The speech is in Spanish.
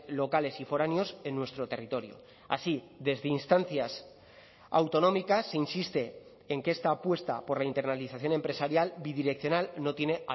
locales y foráneos en nuestro territorio así desde instancias autonómicas se insiste en que esta apuesta por la internalización empresarial bidireccional no tiene